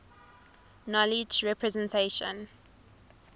knowledge representation